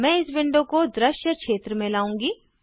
मैं इस विंडो को दृश्य क्षेत्र में लाऊँगी